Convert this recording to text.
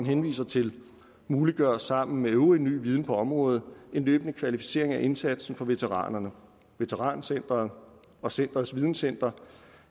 henviser til muliggør sammen med øvrig ny viden på området en løbende kvalificering af indsatsen for veteranerne veterancentret og centerets videncenter